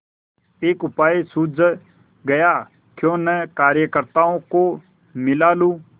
एक उपाय सूझ गयाक्यों न कार्यकर्त्ताओं को मिला लूँ